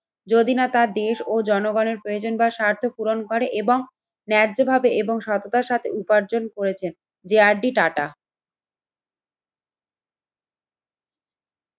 যদি না তার দেশ ও জনগণের প্রয়োজন বা স্বার্থ পূরণ করে এবং ন্যায্যভাবে এবং সততার সাথে উপার্জন করেছেন যে আর ডি টাটা।